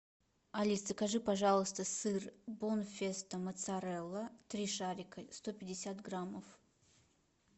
алис закажи пожалуйста сыр бонфеста моцарелла три шарика сто пятьдесят граммов